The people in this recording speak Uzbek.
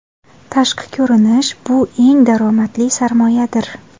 Tashqi ko‘rinish bu eng daromadli sarmoyadir!